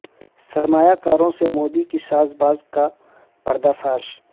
سرمایہ کاروں سے مودی کی ساز باز کا پردہ فاش